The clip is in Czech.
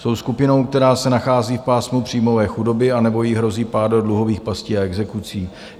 Jsou skupinou, která se nachází v pásmu příjmové chudoby anebo jí hrozí pád do dluhových pastí a exekucí.